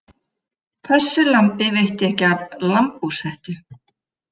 Þessu lambi veitti ekki af lambhúshettu.